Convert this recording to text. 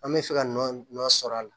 An bɛ fɛ ka nɔ sɔrɔ a la